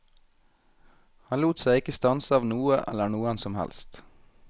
Han lot seg ikke stanse av noe eller noen som helst.